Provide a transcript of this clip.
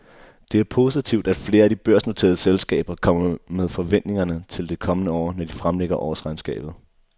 Det er positivt, at flere af de børsnoterede selskaber kommer med forventningerne til det kommende år, når de fremlægger årsregnskabet.